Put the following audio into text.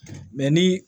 ni